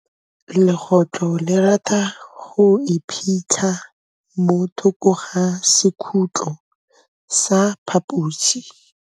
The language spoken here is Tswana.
Legôtlô le rata go iphitlha mo thokô ga sekhutlo sa phaposi.